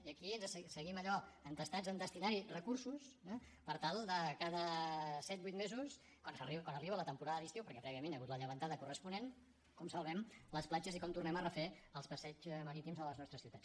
i aquí seguim allò entestats a destinar hi recursos per tal de cada set vuit mesos quan arriba la temporada d’estiu perquè prèviament hi ha hagut la llevantada corresponent com salvem les platges i com tornem a refer els passeigs marítims de les nostres ciutats